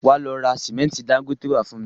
Wá lọ ra símẹ́ntì Dangote wá fún mi